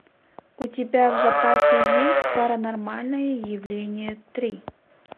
у тебя в запасе есть паранормальное явление три